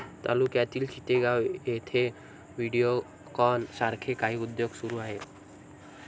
तालुक्यातील चितेगाव येथे व्हिडिओकॉन सारखे काही उद्योग सुरू आहेत